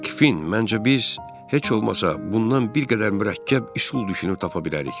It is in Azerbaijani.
Hey Kin, məncə biz heç olmasa bundan bir qədər mürəkkəb üsul düşünüb tapa bilərik.